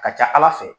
Ka ca ala fɛ